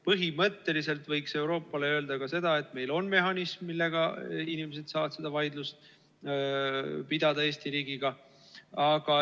Põhimõtteliselt võiks Euroopale öelda ka seda, et meil on mehhanism, millega inimesed saavad seda vaidlust pidada Eesti riigiga.